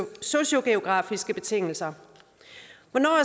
sociogeografiske betingelser